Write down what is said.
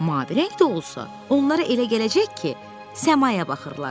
Mavi rəngdə olsa, onlara elə gələcək ki, səmaya baxırlar.